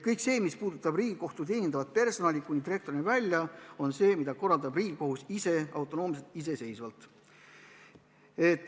Kõike seda, mis puudutab Riigikohtu teenindavat personali kuni direktorini välja, korraldab Riigikohus ise autonoomselt, iseseisvalt.